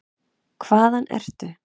Hvaðan ertu?